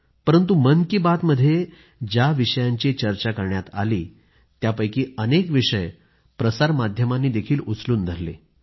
परंतु मन की बात मध्ये ज्या विषयांची चर्चा करण्यात आली त्यापैकी अनेक विषय प्रसार माध्यमांनीही उचलून धरले